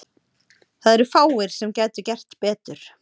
Það eru fáir sem gætu gert betur.